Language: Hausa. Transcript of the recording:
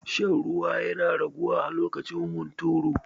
Shan ruwa yana raguwa a lokacin hunturu.